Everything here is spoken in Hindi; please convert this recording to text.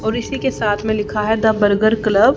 और इसी के साथ में लिखा है द बर्गर क्लब ।